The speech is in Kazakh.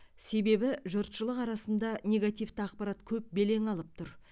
себебі жұртшылық арасында негативті ақпарат көп белең алып тұр